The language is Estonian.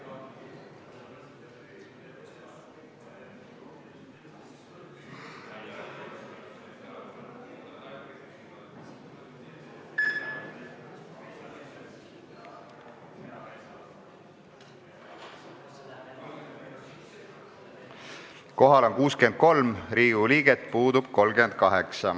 Kohaloleku kontroll Kohal on 63 Riigikogu liiget, puudub 38.